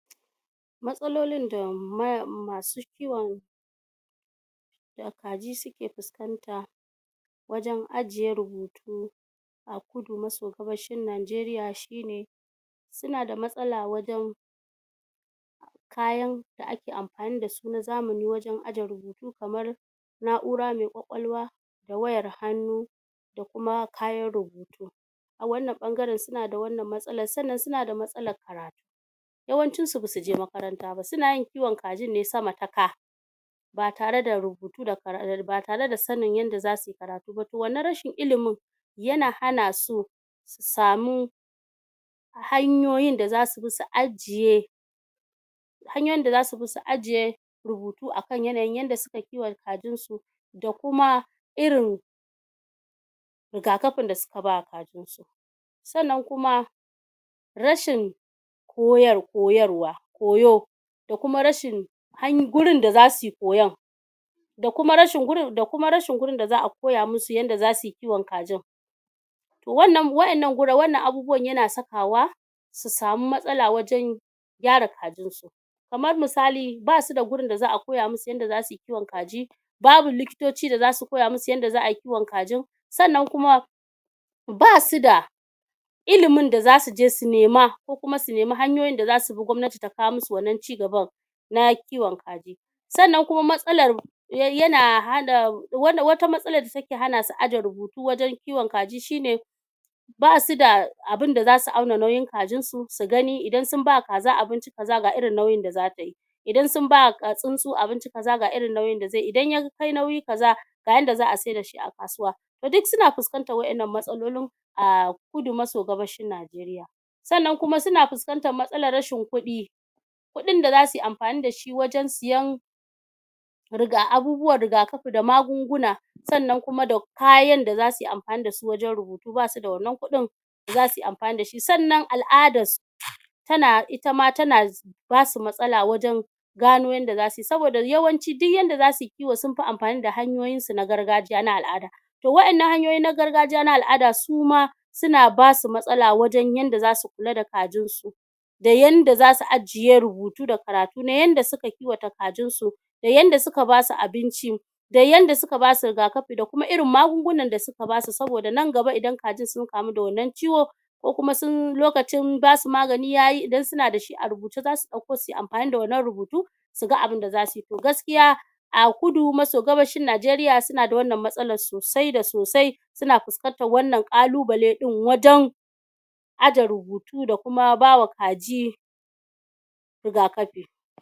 Matsalolin da mai masu kiwon kaji suke fuskanta wajan ajjiye rubutu a kudu maso gabashin Najeriya shine suna da matsala wajan kayan da ake amfani dasu na zamani wajan ajjiye rubutu kamar na'ura mai kwakwalwa wayar hannu da kuma kayan rubutu a wannan ɓangaren suna da wannan matsalar sannan suna da matsalar karatu yawancin su basu je makaranta ba, suna yin kiwon kajin ne sama ta ka ba tare da rubutu da kara ba tare da sannin yadda zasuyi karatu ba to wannan rashin ilimin yana hana su su samu hanyoyin da zasu bi su ajjiye hanyoyin da zasu bi su ajjiye rubutu akan yanayin yadda suka kiwata kajin su da kuma irin rigakafin da suka bawa kajin su sannan kuma rashin koyar koyarwa koyo da kuma rashin han wurin da za suyi koyon da kuma rashin wurin, da kuma rashin wurin da zaa koya musu yadda za suyi kiwon kajin to wannan wa'yannan abubuwan yana sakawa su sami matsala wajan gyyara kajin su kamar misali basu da wurin da zaa koya musu yadda zasuyi kiwon kaji babu likitoci da zasu koya musu yadda za'a yi kiwon kajin sannan kuma basu da ilimin da zasuje su nema ko kuma su nemi hanyoyin dasu bi gwamnati ta kawo musu wannan cigaban na kiwon kaji sannan kuma matsalar yana hana wata matsalar da take hanasu ajjiye rubutu wajan kiwon kaji shine basu da abunda zasu auna nauyin kajin su, su gani, idan sun bawa kaza abinci kaza, ga irin nauyin da zatayi inda sun bawa kaza tsintsu abinci kaza, ga irin nauyin da zai yi, idan ya kai nauyi kaza ga yadda za'a sai dashi a kasuwa ti duk suna fuskantar irin wannan matsalolin a kudu maso gabashin Najeriya sannan kuma suna fuskantar matsalar rashin kuɗi kuɗin da zasuyi amfani dashi wajan siyan riga abubuwan rigakafi da magungun sannan kuma kayan da zasuyi amfani dasu wajan rubutu basu da wanna kuɗin zasuyi amfani da shi sannan al'adar su tana, itama tana basu matsala wajan gano yadda sauyi, saboda yawanci duk yadda za suyi kiwo sun fi amfani da hanyoyin su na gargajiya na al'ada to waɗannan hanyoyi na gargajiya na al'ada suma suna basu matsala wajan yadda zasu kula da kajin su da yadda zasu ajjiye rubutu da karatu na yadds suka kiwata kajin su da yadda suka basu abinci da yadda suka basu rigakafi da kuma irin magungunan da suka basu saboda nan gaba idan kajin sun kamu da wannan ciwo ko kuma sun lokacin basu magani yayi, idan suna dashi a rubuci zasu ɗauko suyi amfani da wannan rubutu suga abinda zasuyi, to gaskiya a kudu maso gabashin Najeriya suna da wannan matsalar sosai da sosai suna fuskantar wannan kalubale wajan ajjiye rubutu da kuma bawa kaji rigakafi